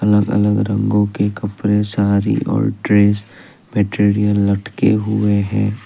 अलग अलग रंगों के कपड़े साड़ी और ड्रेस मटेरियल लटके हुए है।